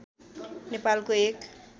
नेपालको एक